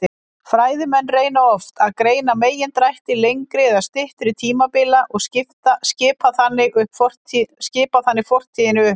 Fræðimenn reyna oft að greina megindrætti lengri eða styttri tímabila og skipta þannig fortíðinni upp.